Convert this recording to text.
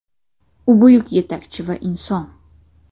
U buyuk yetakchi va inson.